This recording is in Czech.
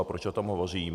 A proč o tom hovořím?